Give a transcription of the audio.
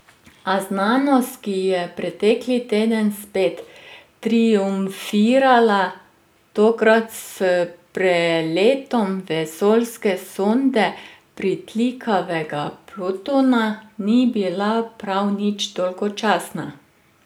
A znanost, ki je pretekli teden spet triumfirala, tokrat s preletom vesoljske sonde pritlikavega Plutona, ni bila prav nič dolgočasna.